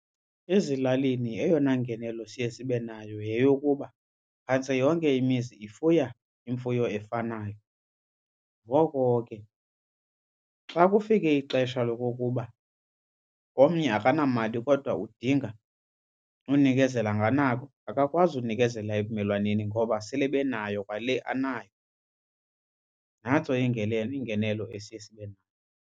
Ezilalini eyona ngenelo siye sibe nayo yeyokuba phantse yonke imizi ifuya imfuyo efanayo. Ngoko ke xa kufike ixesha lokokuba omnye akanamali kodwa udinga unikezela nganako akakwazi unikezela ebumelwaneni ngoba sele benayo kwale anayo. Nantso ingenelo ingenelo esiye sibe .